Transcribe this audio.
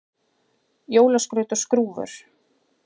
Jólaskraut og skrúfur